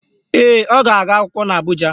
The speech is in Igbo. Ee, ọ ga-aga akwụkwọ n'Abụja.